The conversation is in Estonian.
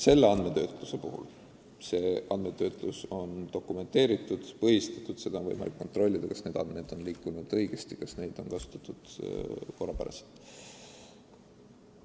See andmetöötlus aga on dokumenteeritud, põhistatud – on võimalik kontrollida, kas neid andmeid on kasutatud korra kohaselt.